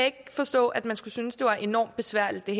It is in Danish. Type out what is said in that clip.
ikke forstå at man skulle synes det var enormt besværligt det